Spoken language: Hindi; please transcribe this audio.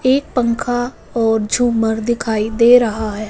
एक पंखा और झूमर दिखाई दे रहा है।